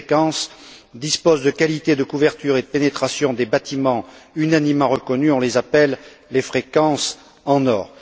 Ces fréquences disposent de qualités de couverture et de pénétration des bâtiments unanimement reconnues, on les appelle les fréquences en or.